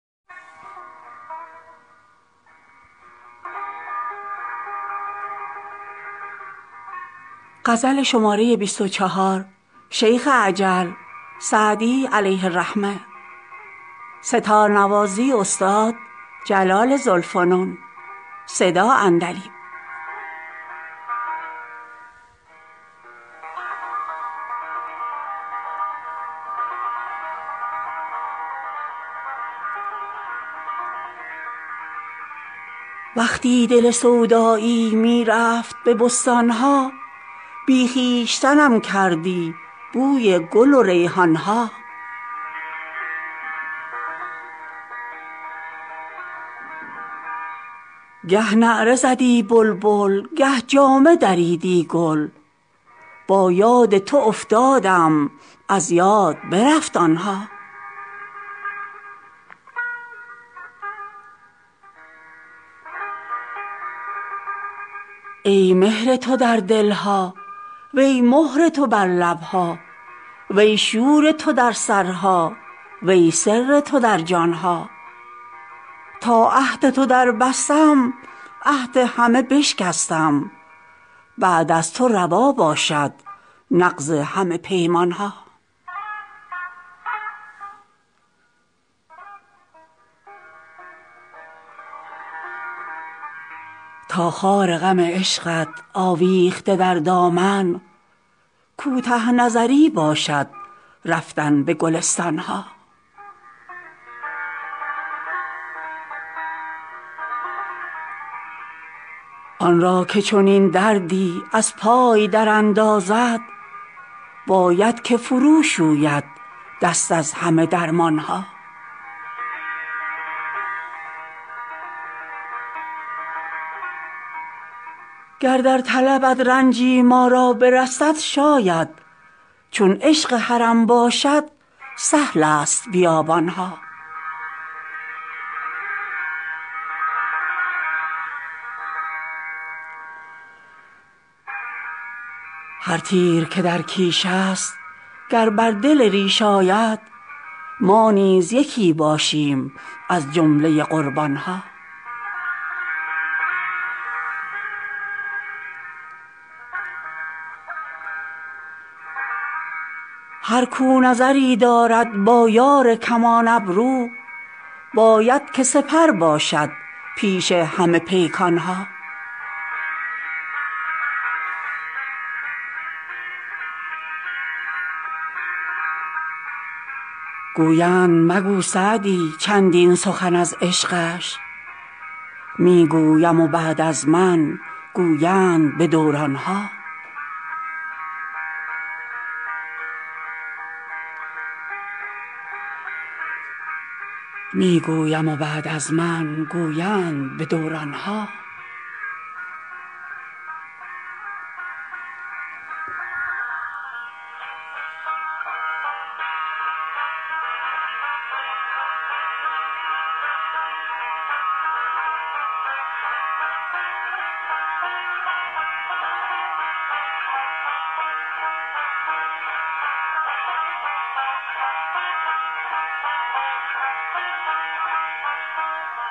وقتی دل سودایی می رفت به بستان ها بی خویشتنم کردی بوی گل و ریحان ها گه نعره زدی بلبل گه جامه دریدی گل با یاد تو افتادم از یاد برفت آن ها ای مهر تو در دل ها وی مهر تو بر لب ها وی شور تو در سرها وی سر تو در جان ها تا عهد تو دربستم عهد همه بشکستم بعد از تو روا باشد نقض همه پیمان ها تا خار غم عشقت آویخته در دامن کوته نظری باشد رفتن به گلستان ها آن را که چنین دردی از پای دراندازد باید که فروشوید دست از همه درمان ها گر در طلبت رنجی ما را برسد شاید چون عشق حرم باشد سهل است بیابان ها هر تیر که در کیش است گر بر دل ریش آید ما نیز یکی باشیم از جمله قربان ها هر کاو نظری دارد با یار کمان ابرو باید که سپر باشد پیش همه پیکان ها گویند مگو سعدی چندین سخن از عشقش می گویم و بعد از من گویند به دوران ها